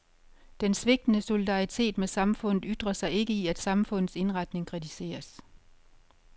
Den svigtende solidaritet med samfundet ytrer sig ikke i at samfundets indretning kritiseres.